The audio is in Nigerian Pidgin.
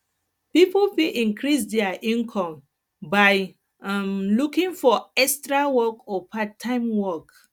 pipo fit increase their income by um looking for extra work or part time work